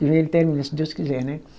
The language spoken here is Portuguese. Ele termina, se Deus quiser, né?